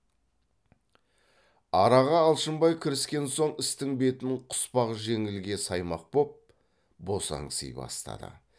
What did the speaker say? араға алшынбай кіріскен соң істің бетін құсбак жеңілге саймақ боп босаңси бастады